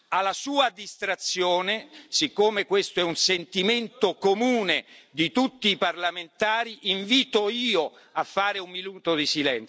Alla sua distrazione, siccome questo è un sentimento comune di tutti i parlamentari, invito io a fare un minuto di